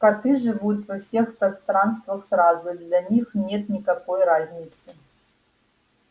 коты живут во всех пространствах сразу для них нет никакой разницы